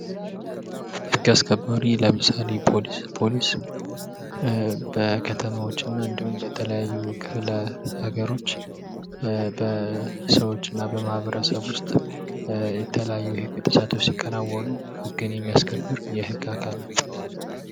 ህግ አስከባሪ ለምሳሌ ፖሊስ ፖሊስ በከተሞች እና እንዲሁም በተለያዩ ክፍለ ሀገሮች በሰዎችና በማህበረሰቦች ውስጥ የተለያዩ የህግ ጥሰቶች የተሰጠው ሲከናወኑ ሕግን የሚያስከብር የህግ አካል ነው።